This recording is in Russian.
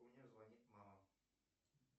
мне звонит мама